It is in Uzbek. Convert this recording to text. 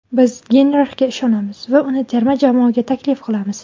Biz Geynrixga ishonamiz va uni terma jamoaga taklif qilamiz.